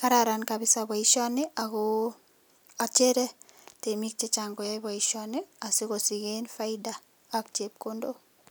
kararan kabisa baishoni ako achere temik chechang koyai baishoni sikosichen faida AK chepkondok